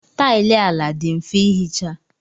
Taịlị ala dị mfe ihicha.